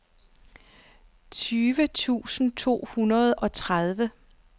tyve tusind to hundrede og treogtredive